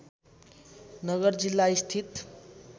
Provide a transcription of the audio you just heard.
नगर जिल्ला स्थित